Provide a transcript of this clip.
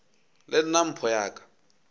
le nna mpho ya ka